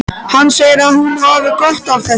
Hann segir að hún hafi gott af þessu.